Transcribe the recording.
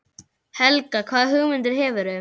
Helga: Hvaða hugmyndir hefurðu?